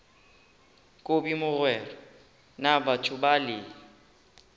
kobi mogwera na batho bale